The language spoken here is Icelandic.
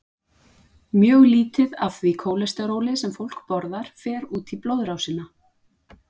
Mjög lítið af því kólesteróli sem fólk borðar fer út í blóðrásina.